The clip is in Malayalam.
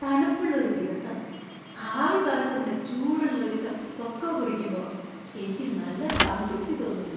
തണുപ്പുള്ള ഒരു ദിവസം ആവി പറക്കുന്ന ചൂടുള്ള ഒരു കപ്പ് കൊക്കോ കുടിക്കുമ്പോ എനിക്ക് നല്ല സംതൃപ്തി തോന്നുന്നു